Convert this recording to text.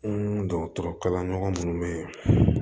N dɔgɔtɔrɔ kalan ɲɔgɔn be yen